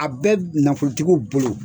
A bɛ nafolotigiw bolo